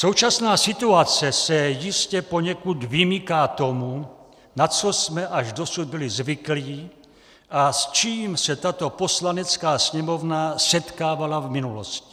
Současná situace se jistě poněkud vymyká tomu, na co jsme až dosud byli zvyklí a s čím se tato Poslanecká sněmovna setkávala v minulosti.